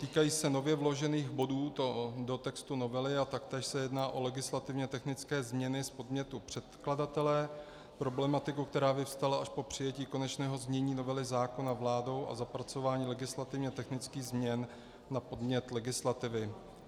Týkají se nově vložených bodů do textu novely a taktéž se jedná o legislativně technické změny z podnětu předkladatele, problematiku, která vyvstala až po přijetí konečného znění novely zákona vládou a zapracování legislativně technických změn na podnět legislativy.